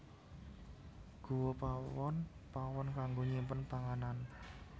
Guwa Pawon pawon kanggo nyimpen panganan